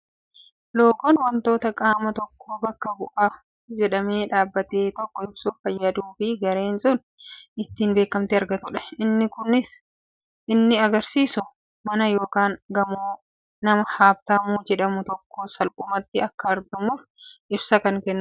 Loogoon waantota qaama tokko bakka bu'a jedhamee dhabbate tokko ibsuuf fayyaduu fi gareen sun ittiin beekamtii argatudha. Innis kan inni argisiisu mana yookaan gamoo nama Haabtaamuu jedhamuu tokkoo salphumatti akka argamuuf ibsa kan kennudha.